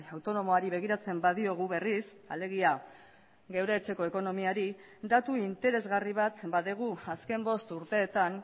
autonomoari begiratzen badiogu berriz alegia geure etxeko ekonomiari datu interesgarri bat badugu azken bost urteetan